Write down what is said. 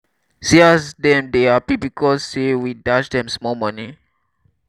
see as dem dey hapi because say we dash dem small moni.